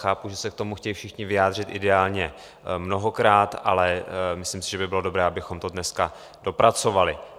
Chápu, že se k tomu chtějí všichni vyjádřit, ideálně mnohokrát, ale myslím si, že by bylo dobré, abychom to dneska dopracovali.